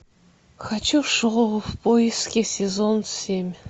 хочу шоу в поиске сезон семь